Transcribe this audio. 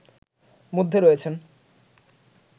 মধ্যে রয়েছেন